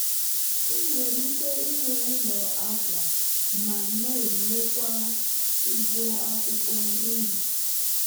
ị nwere ike inwe ụlọ akwa ma na-elekwae ugbo akwukwo nri